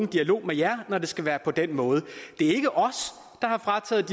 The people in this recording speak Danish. dialog med jer når det skal være på den måde der er ikke os der har frataget